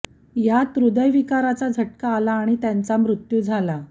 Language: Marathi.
यात हृदयविकाराचा झटका आला आणि त्यांचा मृत्यू झाला